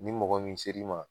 Ni mɔgɔ min ser'i ma